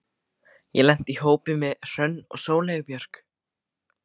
Ég lenti í hópi með Hrönn og Sóleyju Björk.